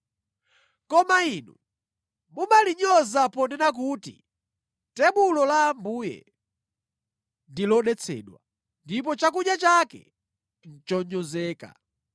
“Koma inu mumalinyoza ponena kuti tebulo la Ambuye, ‘ndi lodetsedwa,’ ndipo chakudya chake, ‘nʼchonyozeka!’